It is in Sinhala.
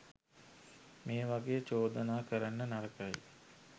මේ වගේ චෝදනා කරන්න නරකයි.